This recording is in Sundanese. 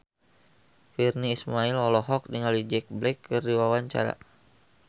Virnie Ismail olohok ningali Jack Black keur diwawancara